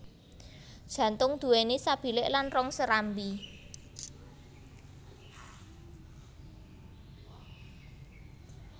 Jantung duwéni sabilik lan rong serambi